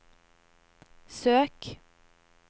søk